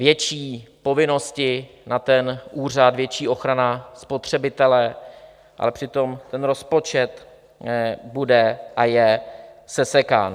Větší povinnosti na ten úřad, větší ochrana spotřebitele, ale přitom ten rozpočet bude a je sesekán.